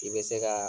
I bɛ se ka